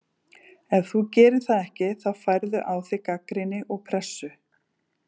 Ef þú gerir það ekki þá færðu á þig gagnrýni og pressu.